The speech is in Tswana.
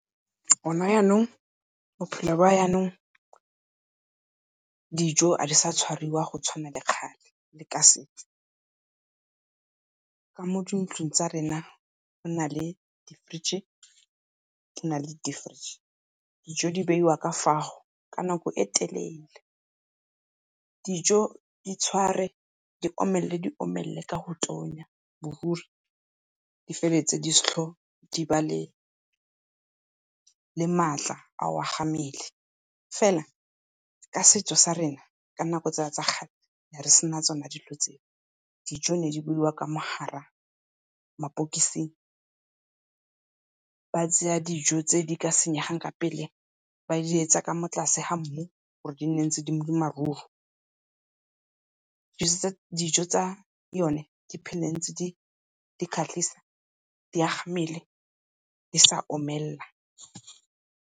Go na yanong, bophelo ba janong, dijo ga di sa tshwariwa go tshwana le kgale le ka setso. Ka mo dintlong tsa rena go na le di-fridge di na le deepfreez, dijo di beiwa ka fao ka nako e telele. Dijo di tshware, di omelele, di omelele ka go tonya di feleletse di sa tlhole di ba le maatla a go aga mmele. Fela ka setso sa rena ka di nako tsa kgale, re ne re sena tsone dilo tseo. Dijo di ne di beiwa ka fo gare ga ma-box, ba tsaya dijo tse di ka senyegang ka pele ba di etsa ka mo tlase ga mmu gore di nne ntse di le maruru. Dijo tsa yone di phele ntse di kgatlhisa, di aga mmele di sa omelela.